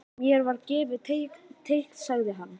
Mér var gefið teikn sagði hann.